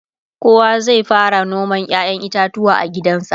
kowa zai fara noman ƴaƴan itatuwa a gidansa